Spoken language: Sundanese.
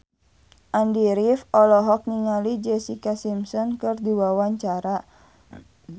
Andy rif olohok ningali Jessica Simpson keur diwawancara